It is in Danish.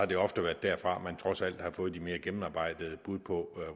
det ofte været derfra man trods alt har fået de mere gennemarbejdede bud på